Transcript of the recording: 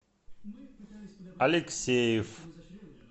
алексеев